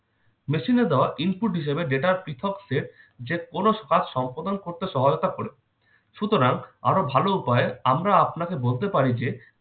machine এ দেওয়া input হিসাবে data এর পৃথক set যেকোনো কাজ সম্পাদন করতে সহায়তা করে। সুতরাং আরো ভালো উপায়ে আমরা আপনাকে বলতে পারি যে-